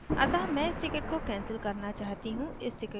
अतः मैं इस टिकिट को cancel करना चाहती हूँ इस टिकिट को select करती हूँ